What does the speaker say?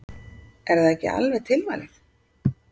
Er það ekki alveg tilvalið?